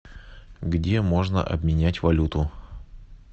где можно обменять валюту